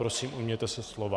Prosím, ujměte se slova.